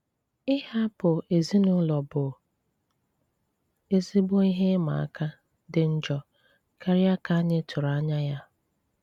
Ìhapụ̀ ezinụlọ̀ bụ ezigbo ihe ị́mà àkà, dị njọ̀ kárị̀a ka anyị tụrụ̀ anyà ya.